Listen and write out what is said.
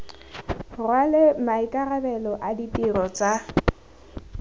rwale maikarabelo a ditiro tsa